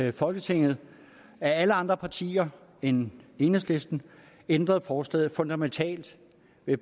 i folketinget alle andre partier end enhedslisten ændret forslaget fundamentalt